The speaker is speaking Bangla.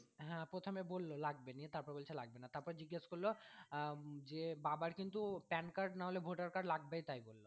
হ্যাঁ প্রথমে বললো লাগবে নিয়ে তারপরে বলছে লাগবে না তারপরে জিজ্ঞেস করলো আহ যে বাবার কিন্তু PANcard বা voter card লাগবেই তাই বললো।